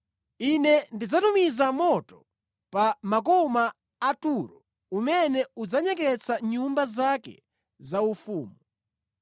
Ine ndidzatumiza moto pa makoma a Turo umene udzanyeketsa nyumba zake zaufumu.”